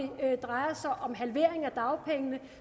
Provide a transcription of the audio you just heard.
drejer sig om halvering af dagpengene